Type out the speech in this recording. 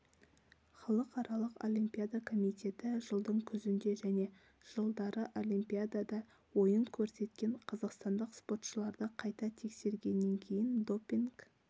халықаралық олимпиада комитеті жылдың күзінде және жылдары олимпиадада ойын көрсеткен қазақстандық спортшыларды қайта тексергенен кейін допинг